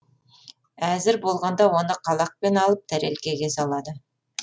әзір болғанда оны қалақпен алып тәрелкеге салады